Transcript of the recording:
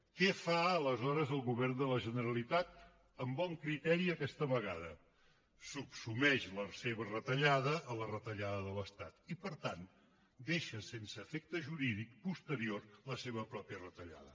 què fa aleshores el govern de la generalitat amb bon criteri aquesta vegada subsumeix la seva retallada a la retallada de l’estat i per tant deixa sense efecte jurídic posterior la seva pròpia retallada